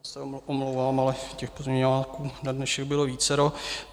Já se omlouvám, ale těch pozměňováků na dnešek bylo vícero.